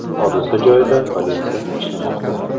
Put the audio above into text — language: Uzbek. Hodisa joyida politsiya ishlamoqda.